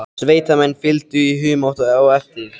Sveitamenn fylgdu í humátt á eftir.